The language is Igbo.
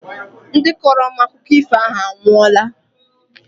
Ndị kọrọ m akụkọ ifo ahụ anwụọla